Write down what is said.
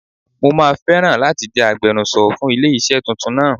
Mo máa fẹ́ràn láti jẹ́ agbenuso fún ilé iṣẹ́ tuntun náà.